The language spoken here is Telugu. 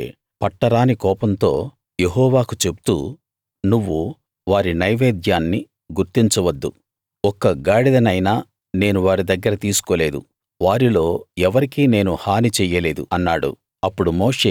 అందుకు మోషే పట్టరాని కోపంతో యెహోవాకు చెప్తూ నువ్వు వారి నైవేద్యాన్ని గుర్తించ వద్దు ఒక్క గాడిదనైనా నేను వారి దగ్గర తీసుకోలేదు వారిలో ఎవరికీ నేను హాని చెయ్యలేదు అన్నాడు